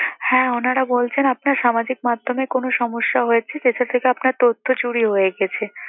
হ্যাঁ ওনারা বলছেন আপনার সামাজিক মাধ্যমে কোন সমস্যা হয়েছে, যেটা থেকে আপনার তথ্য চুরি হয়ে গেছে।